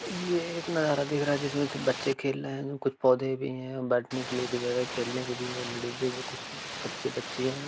ये एक नजारा दिख रहा है जिसमें सिर्फ बच्चे खेल रहे हैं कुछ पौधे भी हैं और बैठने के लिए भी जगह है खेलने के भी है लेडिजे भी कुछ बच्चे-बच्चियां हैं।